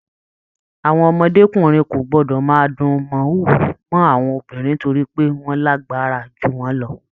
Àwọn ọmọdékunrin kò gbọdọ máa dùn mọ̀húrú mọ àwọn obìnrin nítorí pé wọn lágbára jù wọn lọ!